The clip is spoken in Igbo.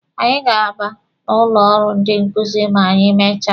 Anyị ga-aba n'ụlọ ọrụ ndị nkuzi ma anyị mechaa.